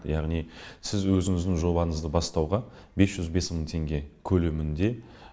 яғни сіз өзіңіздің жобаңызды бастауға бес жүз бес мың теңге көлемінде